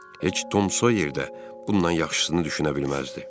Heç Tom Sawyer də bundan yaxşısını düşünə bilməzdi.